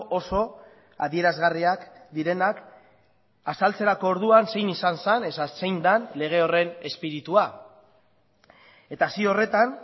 oso adierazgarriak direnak azaltzerako orduan zein izan zen eta zein den lege horren espiritua eta zio horretan